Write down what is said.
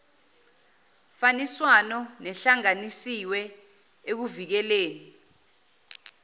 faniswano nehlanganisiwe ekuvikeleni